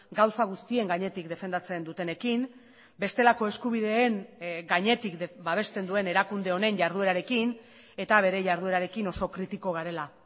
gauza guztien gainetik defendatzen dutenekin bestelako eskubideen gainetik babesten duen erakunde honen jarduerarekin eta bere jarduerarekin oso kritiko garela